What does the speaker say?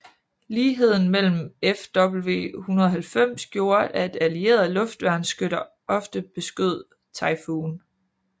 Ligheden med Fw 190 gjorde at allierede luftværnsskytter ofte beskød Typhoon